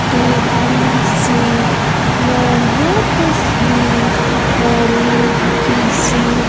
देखने से यह तस्वीर हमें किसी--